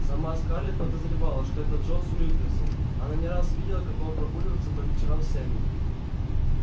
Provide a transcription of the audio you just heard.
сама скарлетт подозревала что это джонас уилкерсон она не раз видела как он прогуливался по вечерам с эмми